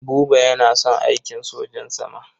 Buba yana son aikin sojan sama.